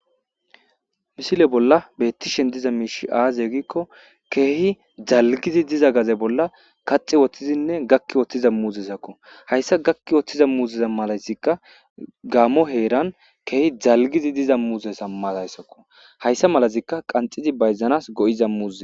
Missile bollan bettishshe dizza mishshi azze gikko kehi dalggidi diza gadde bolla kaxxi woththidi gakki wothiza muzzezakko hayssi gakki woththiza muzezi mallazika gammo heran kehi dallgidi diza muzezza mazakko hayissa malazi qanxxidi bayizzanas go'izza muzze.